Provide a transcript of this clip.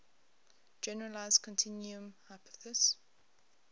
generalized continuum hypothesis